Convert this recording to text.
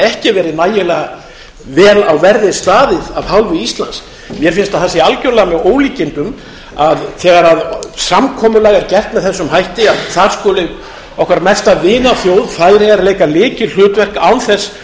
ekki verið nægilega vel á verði staðið af hálfu íslands mér finnst að það sé algjörlega með ólíkindum að þegar samkomulag er gert með þessum hætti að þar skuli okkar mesta vinaþjóð færeyjar leika lykilhlutverk án þess